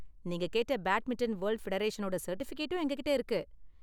நீங்க கேட்ட badminton world ஃபெடரேஷனோட சர்டிபிகேட்டும் எங்ககிட்ட இருக்கு.